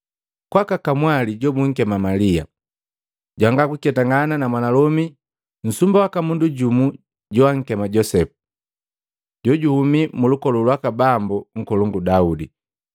kwaka kamwali jumu jobunkema Malia jwangakuketangana na mwanalomi nsumba waka mundu jumu joakema Josepu, jojuhumi mulukolu lwaka Bambu nkolongu Daudi.